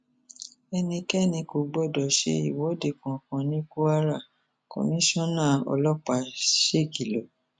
ẹnikẹni kò gbọdọ ṣe ìwọde kankan ní kwarakoniṣánà ọlọpàá ṣèkìlọ